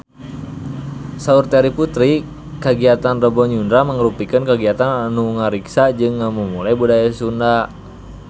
Saur Terry Putri kagiatan Rebo Nyunda mangrupikeun kagiatan anu ngariksa jeung ngamumule budaya Sunda